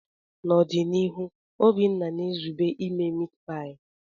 N'ọdịnihu, Obinna na-ezube ime mitipai.